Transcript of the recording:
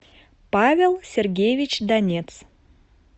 павел сергеевич донец